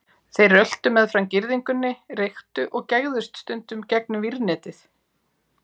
Þeir röltu meðfram girðingunni, reyktu og gægðust stundum gegnum vírnetið.